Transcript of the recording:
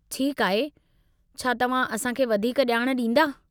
ठीकु आहे, छा तव्हां असां खे वधीक ॼाण ॾींदा?